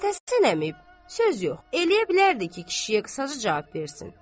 Məmmədhəsən əmi, söz yox, eləyə bilərdi ki, kişiyə qısaca cavab versin.